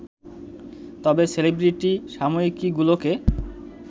তবে সেলিব্রিটি সাময়িকীগুলোকে